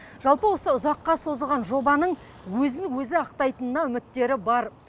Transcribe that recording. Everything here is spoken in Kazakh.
жалпы осы ұзаққа созылған жобаның өзін өзі ақтайтынына үміттері бар